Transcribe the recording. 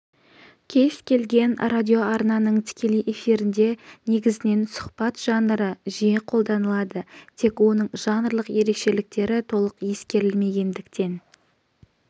кез келген радиоарнаның тікелей эфирінде негізінен сұхбат жанры жиі қолданылады тек оның жанрлық ерекшеліктері толық ескерілмегендіктен